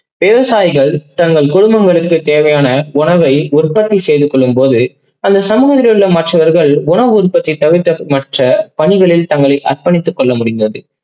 விவசாய்கள் தங்கள் குடும்பங்களுக்கு தேவையான உற்பத்தி செய்துகொள்ளும்போது அந்த சமூகத்தில் உள்ள மற்றவர்கள் உரம் உற்பத்தி தவிர்த்து மற்ற பணிகளில் தங்களை அர்பணித்து கொள்ளமுடிந்தது.